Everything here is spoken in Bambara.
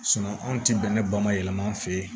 anw ti bɛnɛ ba ma yɛlɛma an fɛ yen